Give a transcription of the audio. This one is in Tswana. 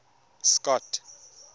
scott